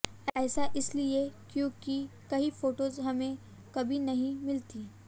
ऐसा इसलिए क्योंकि कई फोटोज हमे कभी नहीं मिलती